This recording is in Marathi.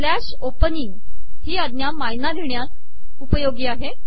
स्लॅश ओपनिंग ही आज्ञा मायना लिहिण्यास उपयोगी आहे